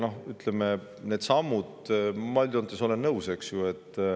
Need sammud – ma üldjoontes olen nõus.